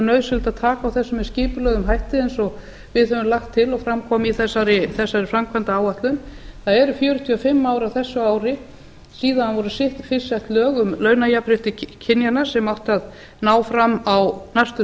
nauðsynlegt að taka á þessu með skipulegum hætti eins og við höfum lagt til og fram kom í þessari framkvæmdaáætlun það eru fjörutíu og fimm ár á þessu ári síðan voru fyrst sett lög um launajafnrétti kynjanna sem átti að ná fram á næstu